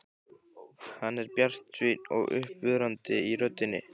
Hann er bjartsýnn og uppörvandi í röddinni.